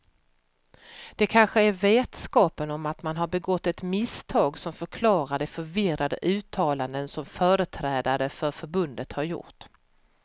Det kanske är vetskapen om att man har begått ett misstag som förklarar de förvirrade uttalanden som företrädare för förbundet har gjort.